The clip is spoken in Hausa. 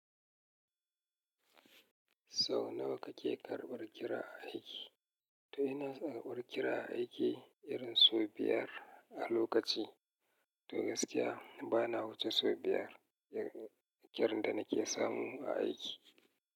Sau nawa kake karɓar kira a aiki? Toh ina karɓar kira aiki irin sau biyar a lokaci. Toh gaskiya bana wuce sau biyar kirar da nake samu a aiki.